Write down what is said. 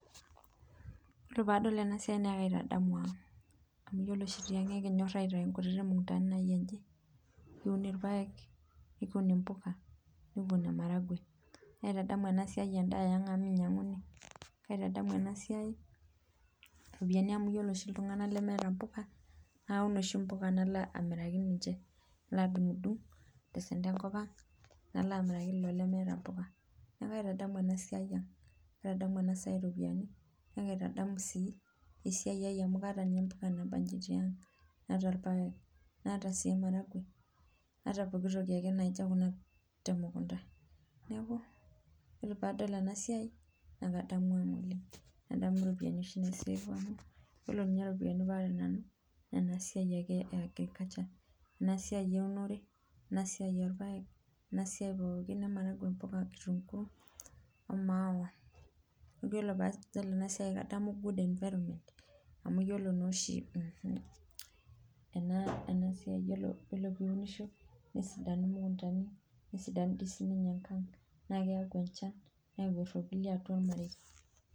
Woree paadol enasiai naa kaitadamu ang, amu iyiolo oshi tiang naa ekinyor aitayu nkutiti mukundani nayia inji, nikiun irpayiek ,nikiun impuka, nikiun mahargwe naitadamu enasiai endaa eeang amu minyanguni , naitadamu enasiai oropiyiani amu iyiolo oshi iltunganak lemeeta mpuka , naun oshi mpuka naalo amiraki ninje , naalo adungdung tee senda enkop ang , naalo amiraki leelo lemeeta impuka .Niaku kaitadamu enasiai aaang , kaitadamu enasiai oropiyiani, kaitadamu sii, esiai aai amu kaata ninye impuka naabanji tiang naata irpayiek naata sii imaaragwe naata pookitoki ake naijo kuna temukunda. Niaku yiolo paadol enasiai ,naa kadamu aaang oleng , nadamu iroopiyani oshi nai seva. Iyiolo ninye ropiyiani naata nanu naa enasiai ake ee agriculture , enasiai eunore , enasiai orpayiek, enasiai pookin emaharagwe, impuka , kitunguu oomauwa . Niaku yiolo paadol enasiai kadamu good environment, amu iyiolo naa oshi enasiai, yiolo pii iunisho neesidanu mukundani , neesidanu dii siinenye enkang neyau eropili atua ormarei.